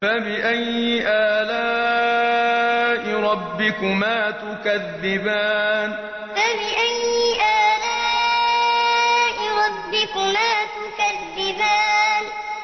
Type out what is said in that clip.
فَبِأَيِّ آلَاءِ رَبِّكُمَا تُكَذِّبَانِ فَبِأَيِّ آلَاءِ رَبِّكُمَا تُكَذِّبَانِ